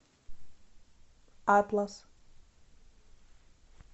атлас